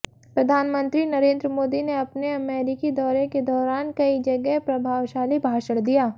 प्रधानमंत्री नरेंद्र मोदी ने अपने अमेरिकी दौरे के दौरान कई जगह प्रभावशाली भाषण दिया